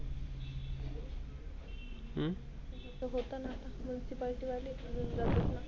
तीत होतं आता Muncipalty वाले ते जाऊ देत नसल.